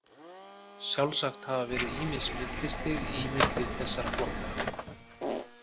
Sjálfsagt hafa verið ýmis millistig í milli þessara flokka.